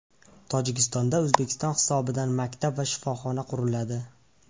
Tojikistonda O‘zbekiston hisobidan maktab va shifoxona quriladi.